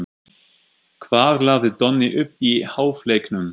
Hvað lagði Donni upp í hálfleiknum?